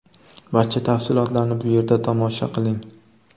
Barcha tafsilotlarni bu yerda tomosha q iling :.